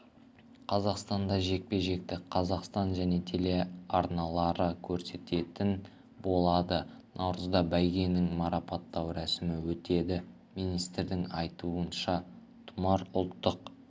қазақстанда жекпе-жекті қазақстан және телеарналары көрсететін болады наурызда бәйгенің марапаттау рәсімі өтеді министрдің айтуынша тұмар ұлттық